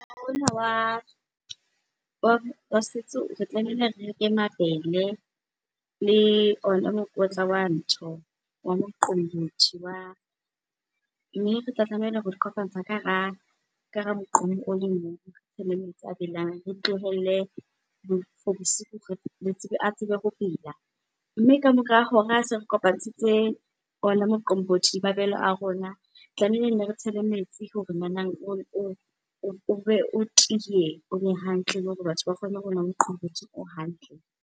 Ona wa setso re tlamehile re reke mabele le ona mokotla wa ntho, wa moqombothi . Mme retla tlameha ho di kopantsha ka hara moqomo o le mong le metsi a belang, re tlohelle for bosiu a tsebe ho bela. Mme ka mora hora se re kopantshitse ona moqombothi, mabele a rona tlameile nne re tshele metsi hore nanang o be o tiye, o be hantle le hore batho ba kgone ho nwa moqombothi o hantle.